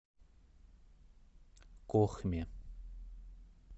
кохме